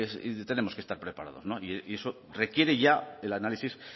y tenemos que estar preparados y eso requiere ya el análisis